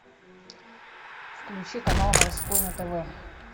включи канал морской на тв